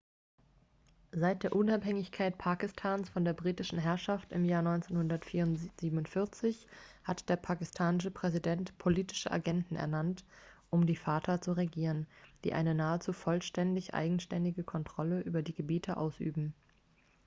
seit der unabhängigkeit pakistans von der britischen herrschaft im jahr 1947 hat der pakistanische präsident politische agenten ernannt um die fata zu regieren die eine nahezu vollständig eigenständige kontrolle über die gebiete ausüben